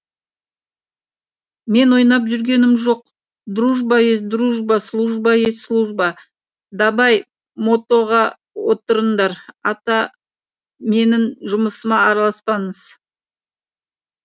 мен ойнап жүргенім жоқ дружба есть дружба служба есть служба дабай мотоға отырыңдар ата менің жұмысыма араласпаңыз